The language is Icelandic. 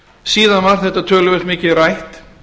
síðan var þetta töluvert mikið rætt